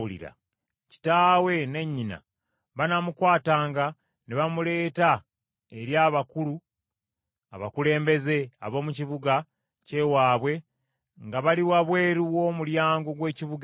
kitaawe ne nnyina banaamukwatanga ne bamuleeta eri abakulu abakulembeze ab’omu kibuga kye waabwe nga bali wabweru w’omulyango gw’ekibuga ekyo.